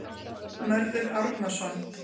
Mörður Árnason.